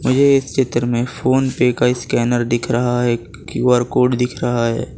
ये एक चित्र मे फोन पे का स्कैनर दिख रहा है क्यू_आर कोड दिख रहा है।